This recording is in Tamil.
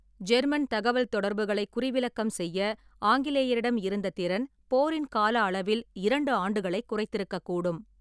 ஜெர்மன் தகவல்தொடர்புகளைக் குறிவிலக்கம் செய்ய ஆங்கிலேயரிடம் இருந்த திறன் போரின் கால அளவில் இரண்டு ஆண்டுகளைக் குறைத்திருக்கக்கூடும்.